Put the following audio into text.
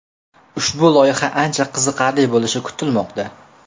Ushbu loyiha ancha qiziqarli bo‘lishi kutilmoqda.